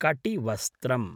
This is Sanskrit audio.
कटिवस्त्रम्